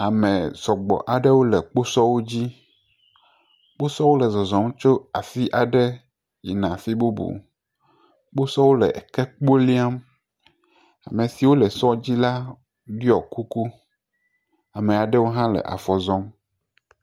Ame sɔgbɔ aɖewo le kposɔ aɖe dzi, kposɔwo le zɔzɔm tso teƒe aɖe yina afi bubu, kposɔwo le eke kpo liam, ame siwo le sɔ dzi la ɖɔi kuku, ame aɖewo hã le afɔ zɔm.